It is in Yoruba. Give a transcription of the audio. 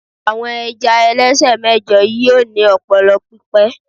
àwọn ẹja ẹlẹsẹ mẹjọ yíò ni ọpọlọ pipẹ